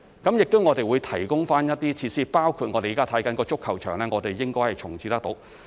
我們亦會提供一些設施，包括我們現正檢視的足球場，應能重置。